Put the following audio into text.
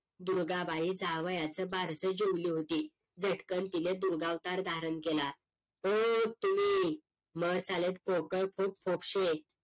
दुर्गाबाई जावयाचं बारसं जेवली होती झटकन तिनं दुर्गावतार धारण केला ओ तुम्ही